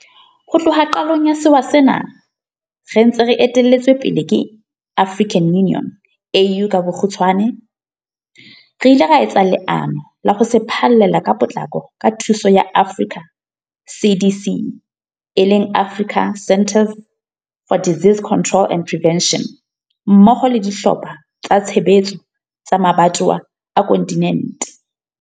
Ho tloha qalong ya sewa sena re ntse re etelletswe pele ke AU, re ile ra etsa leano la ho se phallela ka potlako ka thuso ya Africa CDC mmoho le dihlopha tsa tshebetso tsa mabatowa a kontinente.